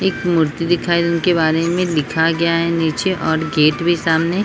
एक मूर्ति दिखाई जिनके बारे में लिखा गया है नीच और गेट भी सामने --